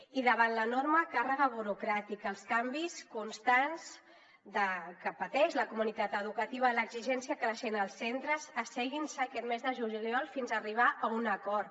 i davant l’enorme càrrega burocràtica els canvis constants que pateix la comunitat educativa l’exigència creixent als centres asseguin se aquest mes de juliol fins a arribar a un acord